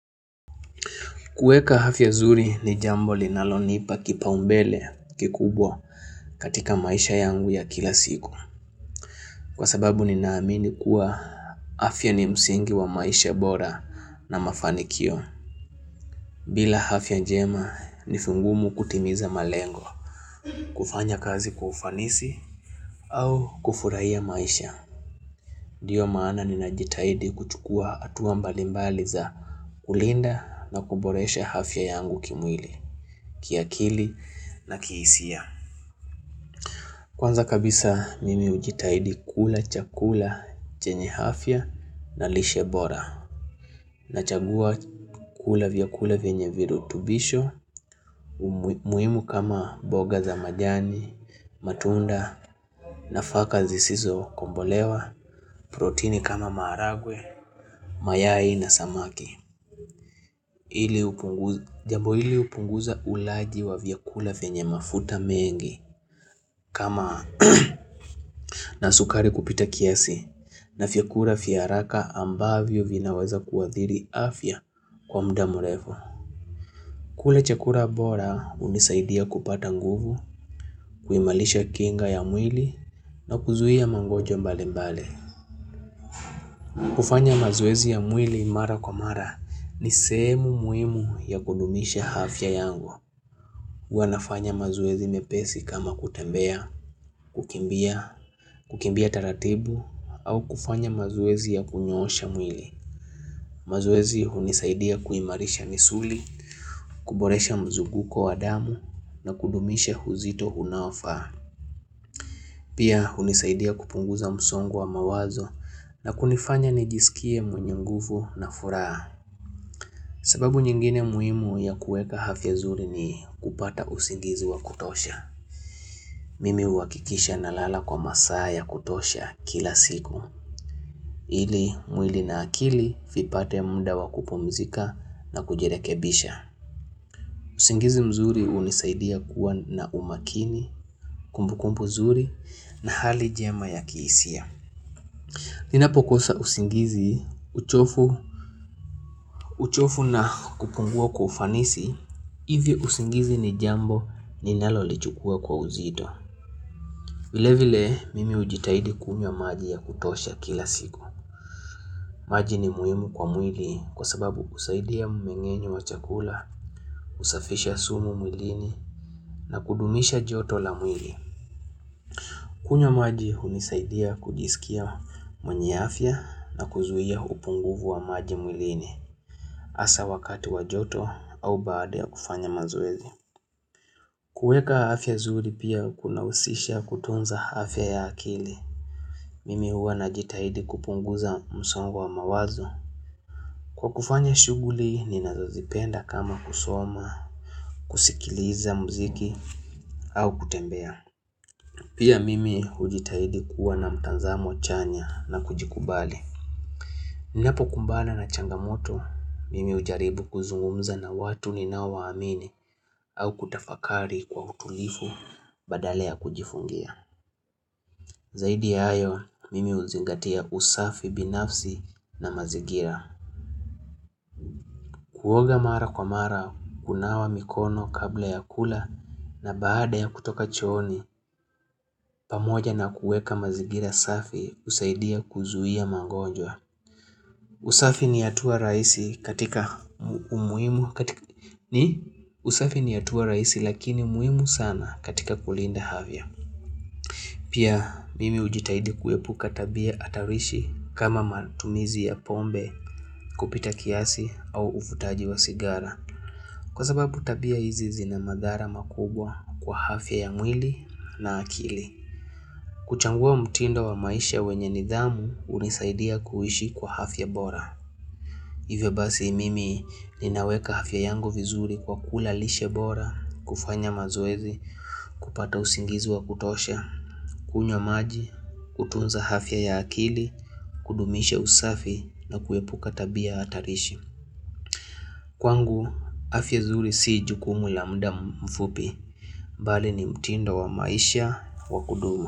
Kueka afya nzuri ni jambo linalonipa kipaumbele kikubwa katika maisha yangu ya kila siku. Kwa sababu ninaamini kuwa afya ni msingi wa maisha bora na mafanikio. Bila afya njema nivingumu kutimiza malengo. Kufanya kazi kwa ufanisi au kufurahia maisha. nDio maana ninajitaidi kuchukua hatua mbalimbali za kulinda na kuboresha afya yangu kimwili. Kiakili na kihisia Kwanza kabisa mimi hujitahidi kula, chakula, chenye afya na lishebora Nachagua kula vyakula venye virutubisho muhimu kama mboga za majani, matunda nafaka zisizo kombolewa proteini kama maragwe, mayai na samaki Jambo hili hupunguza ulaji wa vyakula vyenye mafuta mengi kama na sukari kupita kiasi na vyakula vya haraka ambavyo vinaweza kuadhiri afya kwa muda mrefu kula chakura bora hunisaidia kupata nguvu, kuimalisha kinga ya mwili na kuzuia magonjwa mbali mbali kufanya mazoezi ya mwili mara kwa mara ni sehemu muhimu ya kudumisha afya yangu huWanafanya mazoezi mepesi kama kutembea, kukimbia, kukimbia taratibu au kufanya mazoezi ya kunyoosha mwili. Mazoezi hunisaidia kuimarisha misuli, kuboresha mzunguko wa damu na kudumisha uzito unaofaa. Pia hunisaidia kupunguza msongo wa mawazo na kunifanya nijisikie mwenye nguvu na furaha. Sababu nyingine muhimu ya kueka afya nzuri ni kupata usingizi wa kutosha. Mimi huakikisha nalala kwa masaa ya kutosha kila siku ili mwili na akili vipate muda wakupumzika na kujirekebisha usingizi mzuri hunisaidia kuwa na umakini, kumbukumbu zuri na hali njema ya kihisia Ninapokosa uzingizi, uchovu na kupungua kwa ufanisi hIvi uzingizi ni jambo ninalolichukua kwa uzito vile vile mimi hujitahidi kunywa maji ya kutosha kila siku. Maji ni muhimu kwa mwili kwa sababu husaidia mmengenyo wa chakula, husafisha sumu mwilini na kudumisha joto la mwili. Kunywamaji hunisaidia kujisikia mwenye afya na kuzuia upunguvu wa maji mwilini hasa wakati wa joto au baada ya kufanya mazoezi. Kueka afya nzuri pia kuna husisha kutunza afya ya akili. Mimi huwa najitahidi kupunguza msongo wa mawazo. Kwa kufanya shughuli, ninazozipenda kama kusoma, kusikiliza mziki, au kutembea. Pia mimi hujitahidi kuwa na mtazamo chanya na kujikubali. Ninapokumbana na changamoto, mimi hujaribu kuzungumza na watu ninaowamini au kutafakari kwa utulivu badala ya kujifungia. Zaidi ya hayo, mimi huzingatia usafi binafsi na mazingira. Kuoga mara kwa mara, kunawa mikono kabla ya kula na baada ya kutoka chooni, pamoja na kueka mazingira safi, husaidia kuzuia mangonjwa. Usafi ni hatua rahisi katika umuhimu katika ni? Usafi ni hatua rahisi lakini muhimu sana katika kulinda afya. Pia mimi ujitahidi kuepuka tabia hatarishi kama matumizi ya pombe kupita kiasi au uvutaji wa sigara kwa sababu tabia hizi zina madhara makubwa kwa afya ya mwili na akili. Kuchangua mtindo wa maisha wenye nidhamu hunisaidia kuishi kwa afya bora. Hivyo basi mimi ninaweka afya yangu vizuri kwa kula lishe bora, kufanya mazoezi, kupata usingizi wa kutosha, kunywa maji, kutunza afya ya akili, kudumisha usafi na kuepuka tabia hatarishi. Kwangu, hafya nzuri si jukumu la muda mfupi, bali ni mtindo wa maisha wa kudumu.